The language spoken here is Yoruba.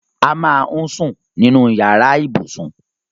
A máà ń sún sínú yàrá ibùsùn